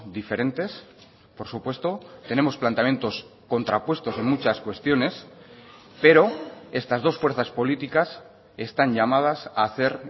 diferentes por supuesto tenemos planteamientos contrapuestos en muchas cuestiones pero estas dos fuerzas políticas están llamadas a hacer